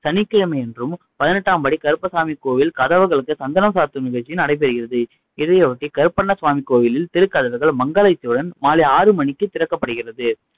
சனிக்கிழமையன்றும் பதினெட்டாம் படி கருப்பணசாமி கோவில் கதவுகளுக்கு சந்தனம் சாத்தும் நிகழ்ச்சி நடைபெறுகிறது. இதையொட்டி கருப்பணசாமி கோவிலின் திருக்கதவுகள் மங்கள இசையுடன் மாலை ஆறு மணிக்கு திறக்கப்படுகிறது